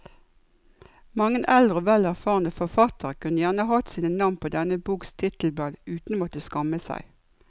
Mange eldre og vel erfarne forfattere kunne gjerne hatt sine navn på denne boks titelblad uten å måtte skamme seg.